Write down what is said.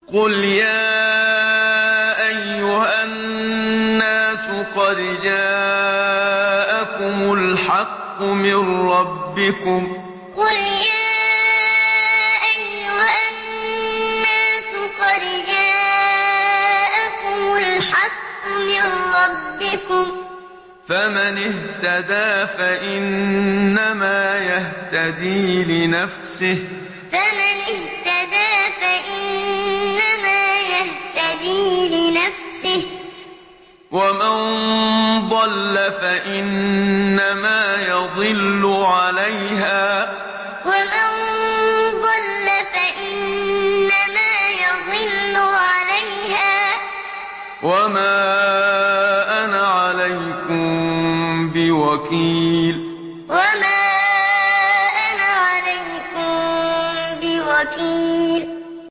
قُلْ يَا أَيُّهَا النَّاسُ قَدْ جَاءَكُمُ الْحَقُّ مِن رَّبِّكُمْ ۖ فَمَنِ اهْتَدَىٰ فَإِنَّمَا يَهْتَدِي لِنَفْسِهِ ۖ وَمَن ضَلَّ فَإِنَّمَا يَضِلُّ عَلَيْهَا ۖ وَمَا أَنَا عَلَيْكُم بِوَكِيلٍ قُلْ يَا أَيُّهَا النَّاسُ قَدْ جَاءَكُمُ الْحَقُّ مِن رَّبِّكُمْ ۖ فَمَنِ اهْتَدَىٰ فَإِنَّمَا يَهْتَدِي لِنَفْسِهِ ۖ وَمَن ضَلَّ فَإِنَّمَا يَضِلُّ عَلَيْهَا ۖ وَمَا أَنَا عَلَيْكُم بِوَكِيلٍ